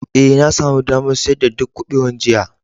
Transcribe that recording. Ee, na sami damar siyar da duk kubewan jiya.